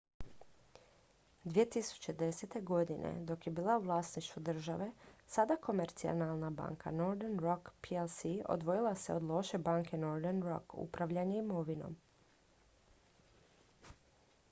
2010. godine dok je bila u vlasništvu države sada komercijalna banka northern rock plc odvojila se od loše banke” northern rock upravljanje imovinom